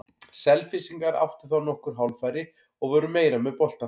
Selfyssingar áttu þá nokkur hálffæri og voru meira með boltann.